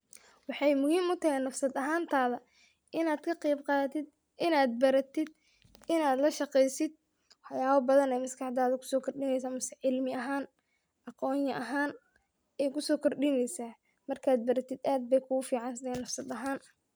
Waxay muhiim utahay nafsad ahantada in ad kaqeyb qadatin, in ad baratid, in ad lashaqeysid waxyabo badan ayey maskaxdada kusokordini cimli ahan aqoon ahan aya wax kugusokordineysa marka wax baratid aad ayey uficantshay nafsad ahaan.